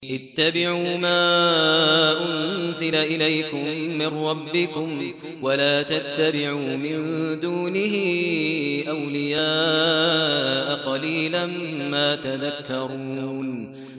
اتَّبِعُوا مَا أُنزِلَ إِلَيْكُم مِّن رَّبِّكُمْ وَلَا تَتَّبِعُوا مِن دُونِهِ أَوْلِيَاءَ ۗ قَلِيلًا مَّا تَذَكَّرُونَ